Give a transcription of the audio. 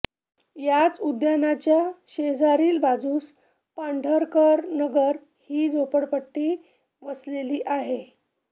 याच उद्यानाच्या शेजारील बाजूस पांढरकरनगर ही झोपटपट्टी वसलेली आहे